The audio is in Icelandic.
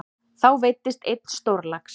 Þá veiddist einn stórlax.